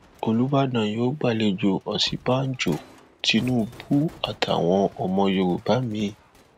olùbàdàn yóò gbàlejò òsínbàjò tìnùbù àtàwọn ọmọ yorùbá mi